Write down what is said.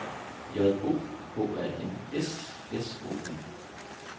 J O H A N S S O N